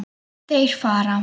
Þeir fara.